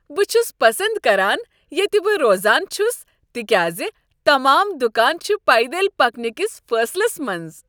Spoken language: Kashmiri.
بہٕ چھس پسند کران ییٚتہ بہٕ روزان چھس تکیاز تمام دکان چھ پیدل پکنٕکِس فٲصلس منٛز۔